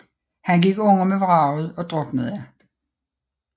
Han gik under med vraget og druknede